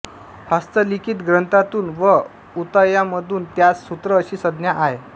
हस्तलिखित ग्रंथांतून व उतायांमधून त्यांस सूत्र अशी संज्ञा आहे